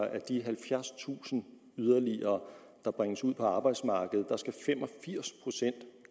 af de halvfjerdstusind yderligere der bringes ud på arbejdsmarkedet